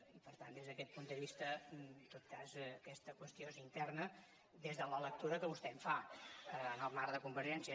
i per tant des d’aquest punt de vista en tot cas aquesta qüestió és interna des de la lectura que vostè en fa en el marc de convergència